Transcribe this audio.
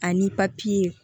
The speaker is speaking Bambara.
Ani